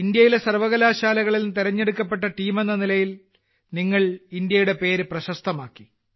ഇന്ത്യയിലെ സർവ്വകലാശാലകളിൽനിന്ന് തിരഞ്ഞെടുക്കപ്പെട്ട ടീം എന്ന നിലയിൽ നിങ്ങൾ ഇന്ത്യയുടെ പേര് പ്രശസ്തമാക്കി